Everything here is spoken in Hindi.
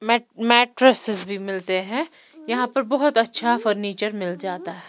मैट मैट्ट्रेसेस भी मिलते हैं यहां पर बहुत अच्छा फर्नीचर मिल जाता है।